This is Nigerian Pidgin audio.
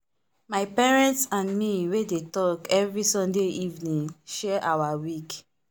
my parents and me we dey talk every sunday evening share our week.